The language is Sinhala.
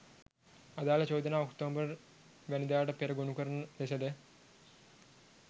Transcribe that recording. අදාළ චෝදනා ඔක්තෝබර් වැනිදාට පෙර ගොනුකරන ලෙසද